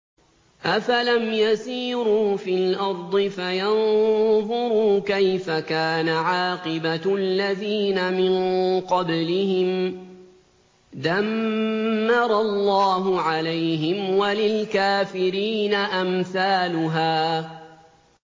۞ أَفَلَمْ يَسِيرُوا فِي الْأَرْضِ فَيَنظُرُوا كَيْفَ كَانَ عَاقِبَةُ الَّذِينَ مِن قَبْلِهِمْ ۚ دَمَّرَ اللَّهُ عَلَيْهِمْ ۖ وَلِلْكَافِرِينَ أَمْثَالُهَا